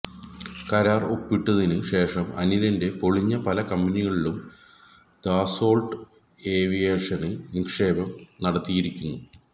കരാര് ഒപ്പിട്ടത്തിന് ശേഷം അനിലിന്റെ പൊളിഞ്ഞ പല കമ്പനികളിലും ദസോള്ട്ട് ഏവിയേഷന് നിക്ഷേപം നടത്തിയിരിക്കുന്നു